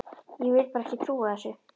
Ég vil bara ekki trúa þessu.